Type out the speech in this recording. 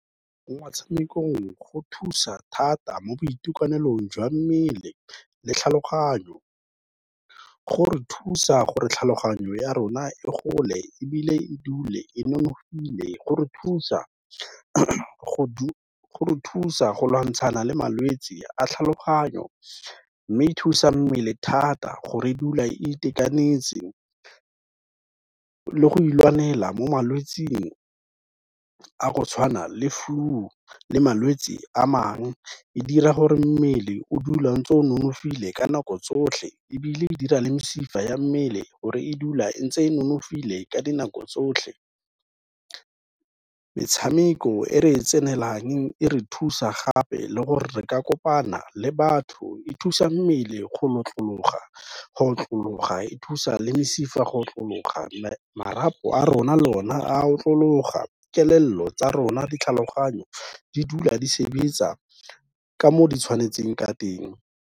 Mo matshamekong go thusa thata mo boitekanelong jwa mmele le tlhaloganyo, go re thusa gore tlhaloganyo ya rona e gole ebile e dule e nonofile, go re thusa go lwantshana le malwetse a tlhaloganyo mme e thusa mmele thata go re e dula e itekanetse le go ilwanela mo malwetsing a go tshwana le flu, le malwetsi a mang, e dira gore mmele o dula o ntse o nonofile ka nako tsotlhe, ebile e dira le mesifa ya mmele gore e dula ntse e nonofile ka dinako tsotlhe, metshameko e re e tsenelelang e re thusa gape le gore re ka kopana le batho, e thusa mmele go lotlologa, e thusa le mesifa go lotlologa, marapo a rona le o na a lotlologa, kelello tsa rona ditlhaloganyo, di dula di sebetsa ka mo di tshwanetseng ka teng.